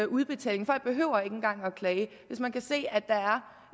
udbetaling folk behøver ikke engang at klage hvis man kan se